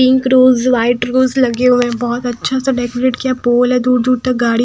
pink rose white rose लगे हुए हैं बहोत अच्छा सा डेकोरेट किया पोल है दूर दूर तक गाड़ी--